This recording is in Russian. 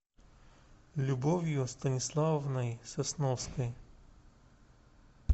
любовью станиславовной сосновской